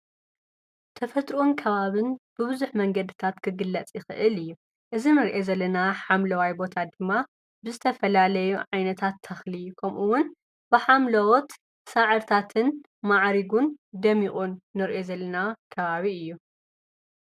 ተፈጥርኦን ከባብን ብብዙኅ መንገድታት ክግላጺ ኽእል እዩ እዝ ምርአ ዘለና ሓምለዋይ ቦታ ድማ ብስተ ፈላለዩ ኣይነታት ተኽሊ ምኡውን ብሓምለዎት ሣዕርታትን መዓሪጉን ደሚዑን ኖርኤ ዘለና ከባቢ እዩ።